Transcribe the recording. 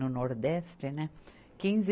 No Nordeste, né? Quinze